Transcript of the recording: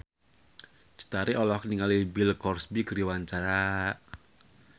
Cut Tari olohok ningali Bill Cosby keur diwawancara